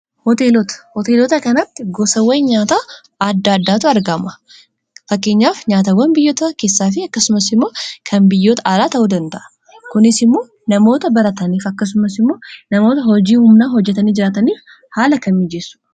hoteelota kanaatti gosawwan nyaata adda addaatu argama fakkeenyaaf nyaatawwan biyyota keessaa fi akkasumas immoo kan biyyoota alaa ta'uu danda'a. kunis immoo namoota barataniif akkasumas immoo namoota hojii humnaa hojjatanii jiraataniif haala kan mijeessu.